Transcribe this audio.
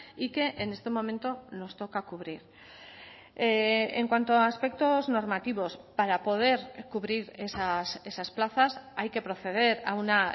y que en este momento nos toca cubrir en cuanto a aspectos normativos para poder cubrir esas plazas hay que proceder a una